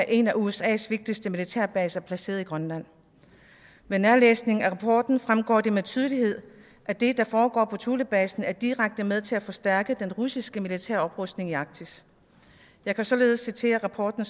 en af usas vigtigste militærbaser placeret i grønland med nærlæsning af rapporten fremgår det med tydelighed at det der foregår på thulebasen er direkte med til at forstærke den russiske militære oprustning i arktis jeg kan således citere rapporten